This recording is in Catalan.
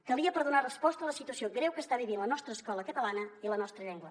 calia per donar resposta a la situació greu que està vivint la nostra escola catalana i la nostra llengua